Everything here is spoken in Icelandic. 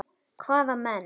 Hvaða menn?